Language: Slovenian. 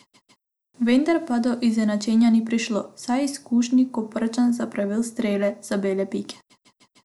Vendar pa do izenačenja ni prišlo, saj je izkušeni Koprčan zapravil strel z bele pike.